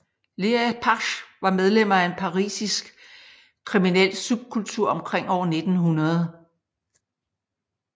Les apaches var medlemmer af en parisisk kriminel subkultur omkring år 1900